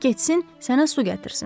qoy getsin, sənə su gətirsin.